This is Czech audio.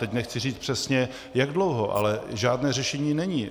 Teď nechci říct přesně, jak dlouho, ale žádné řešení není.